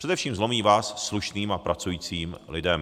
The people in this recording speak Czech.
Především zlomí vaz slušným a pracujícím lidem.